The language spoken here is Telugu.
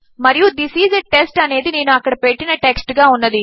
మరియు థిస్ ఐఎస్ a టెస్ట్ అనేది నేను అక్కడ పెట్టిన టెక్స్ట్ గా ఉన్నది